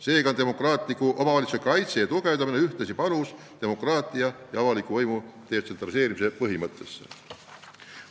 Seega, demokraatliku omavalitsuse kaitse ja tugevdamine on ühtlasi panus avaliku võimu detsentraliseerimise põhimõtte elluviimisse.